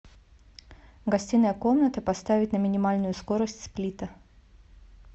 гостиная комната поставить на минимальную скорость сплита